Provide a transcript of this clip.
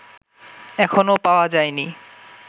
এখনও পাওয়া যায় নি